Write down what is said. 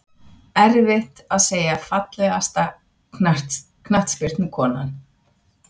Erfitt að segja Fallegasta knattspyrnukonan?